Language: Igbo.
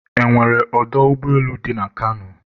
e nwere ọdọ ụgbọelu dị na Kano?